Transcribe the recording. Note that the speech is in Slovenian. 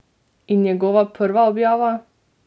In njegova prva objava?